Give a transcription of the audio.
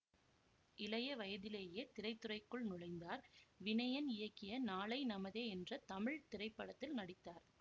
இளைய வயதிலேயே திரைத்துறைக்குள் நுழைந்தார் வினயன் இயக்கிய நாளை நமதே என்ற தமிழ் திரைப்படத்தில் நடித்தார்